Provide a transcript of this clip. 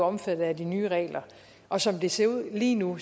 omfattet af de nye regler og som det ser ud lige nu